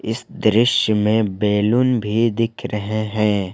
इस दृश्य में बैलून भी दिख रहे हैं।